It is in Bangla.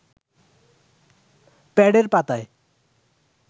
প্যাডের পাতায়